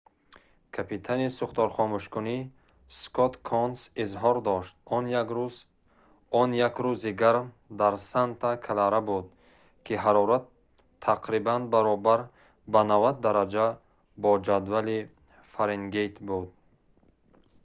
капитани сӯхторхомӯшкунӣ скотт конс изҳор дошт он як рӯзи гарм дар санта клара буд ки ҳарорат тақрибан баробар ба 90 дараҷа бо ҷадвали фаренгейт буд